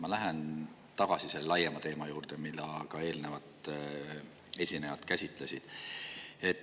Ma lähen tagasi selle laiema teema juurde, mida ka eelnevad esinejad käsitlesid.